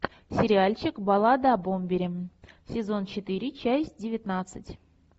сериальчик баллада о бомбере сезон четыре часть девятнадцать